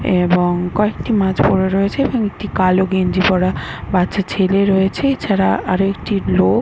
এবং কয়েকটি মাছ পরে রয়েছে এবং একটি কালো গেঞ্জি পরা বাচ্চা ছেলে রয়েছে। এছাড়া আরো একটি লোক --